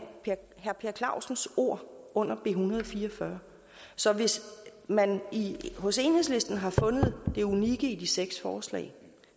herre per clausens ord under b en hundrede og fire og fyrre så hvis man hos enhedslisten har fundet det unikke i de seks forslag